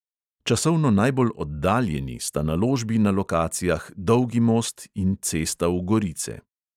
Časovno najbolj oddaljeni sta naložbi na lokacijah dolgi most in cesta v gorice.